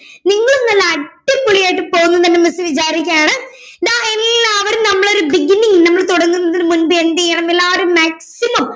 നിങ്ങളും നല്ല അടിപൊളിയായിട്ടു പോന്നു തന്നെ miss വിചാരിക്കുവാണ് ദാ എല്ലാവരും നമ്മളൊരു beginning നമ്മള് തൊടങ്ങുന്നതിന് മുൻപ് എന്ത്ചെയ്യണം എല്ലാരും maximum